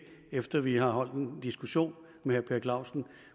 efter at vi har haft en diskussion med herre per clausen